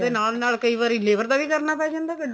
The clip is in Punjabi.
ਉਹਦੇ ਨਾਲ ਨਾਲ ਕਈ labor ਦਾ ਵੀ ਕਰਨਾ ਪੈ ਜਾਂਦਾ